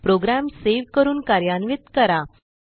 program save करून कार्यान्वित करा